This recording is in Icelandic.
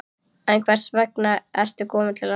En hvers vegna ertu kominn til landsins?